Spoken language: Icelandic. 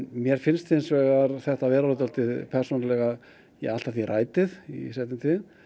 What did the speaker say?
mér finnst hins vegar þetta vera orðið allt að því í seinni tíð